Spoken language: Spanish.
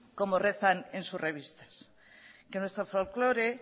como rezan en sus revistas que nuestro folclore